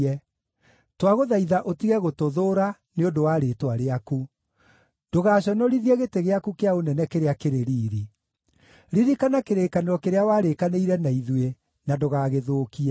Twagũthaitha ũtige gũtũthũũra, nĩ ũndũ wa rĩĩtwa rĩaku; ndũgaaconorithie gĩtĩ gĩaku kĩa ũnene kĩrĩa kĩrĩ riiri. Ririkana kĩrĩkanĩro kĩrĩa warĩkanĩire na ithuĩ, na ndũgagĩthũkie.